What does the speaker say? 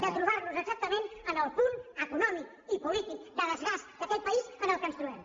de trobar nos exactament en el punt econòmic i polític de desgast d’aquest país en què ens trobem